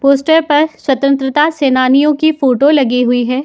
Poster पर स्वतंत्रता सेनानियों की फोटो लगी हुई है।